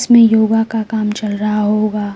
इसमें योगा का काम चल रहा होगा।